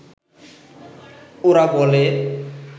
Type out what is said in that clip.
ওরা বলে